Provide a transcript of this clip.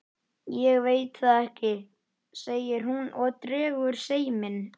Ég veit það ekki, segir hún og dregur seiminn.